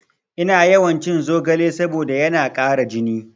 Ina yawan cin zogale saboda yana ƙara jini